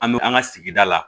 An bɛ an ka sigida la